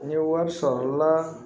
N ye wari sɔrɔ la